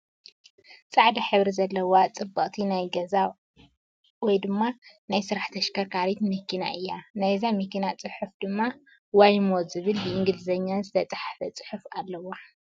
ፃዕዳ ሕብሪ ዘለዋ ፅብቅቲ! ናይ ገዛ ወይ ድማ ናይ ስራሕ ተሽከርካሪት መኪና እያ። ናይዛ መኪና ፅሑፍ ድማ ዋይሞ ዝብል ብእንግሊዘኛ ዝተፀሓፈ ፅሑፍ ኣለዋ።